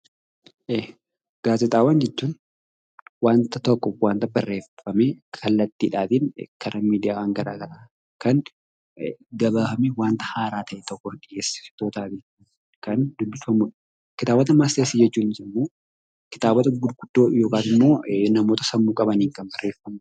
Gaazexaawwan jechuun wanta tokko waanta barreeffamee kallattiidhaatiin gara miidiyaa gara garaa yookaan gabaasni wanta haaraa ta'e tokkoo gabaafamee wanta haaraa tokko kan ibsudha. Kitaabotaa fi Matseetiiwwan jechuun immoo kitaabota gurguddoo namoota sammuu qabaniin kan barreeffame.